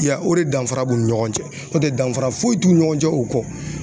Ya o re danfara b'u ni ɲɔgɔn cɛ n'o tɛ danfara foyi t'u ni ɲɔgɔn cɛ u kɔ.